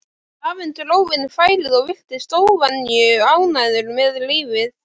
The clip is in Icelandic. Afinn dró inn færið og virtist óvenju ánægður með lífið.